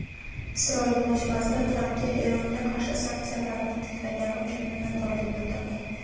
Isroil bosh vaziri Trampga Eronga qarshi sanksiyalarni tiklagani uchun minnatdorlik bildirdi .